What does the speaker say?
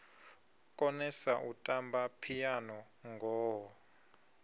konesa u tamba phiano ngoho